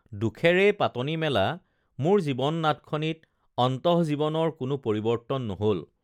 দুখেৰেই পাতনি মেলা মোৰ জীৱন নাটখনিত অন্তঃজীৱনৰ কোনো পৰিৱৰ্ত্তন নহল